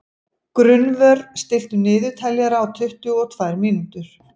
Gunnvör, stilltu niðurteljara á tuttugu og tvær mínútur.